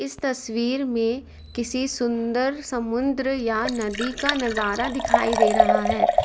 इस तस्वीर में किसी सुंदर समुद्र या नदी का नजारा दिखाई दे रहा है।